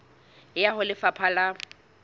e ya ho lefapha la